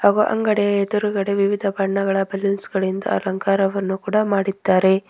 ಹಾಗು ಅಂಗಡಿಯ ಎದುರುಗಡೆ ವಿವಿಧ ಬಣ್ಣಗಳ ಬಲೂನ್ಸ್ ಗಳಿಂದ ಅಲಂಕಾರವನ್ನು ಕೂಡ ಮಾಡಿದ್ದಾರೆ.